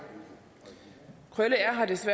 så